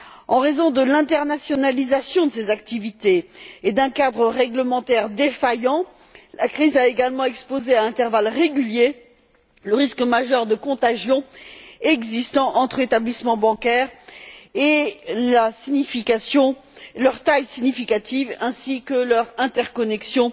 En raison de l'internationalisation de ces activités et d'un cadre réglementaire défaillant, la crise a également mis en évidence, à intervalles réguliers, le risque majeur de contagion existant entre établissements bancaires et la taille significative de ces derniers, ainsi que leur interconnexion